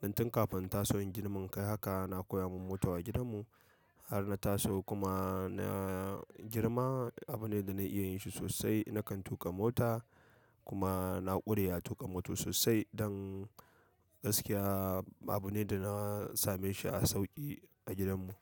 don tun kafin in taso in girma in kai haka ana koya min moto a gidan mu. Har na taso kuma na girma. Abu ne da na iya yin shi sosai. Nakan tuƙa mota kuma na ƙure a tuƙa moto sosai. Don gaskiya, abu ne da na same shi a sauƙi a gidan mu.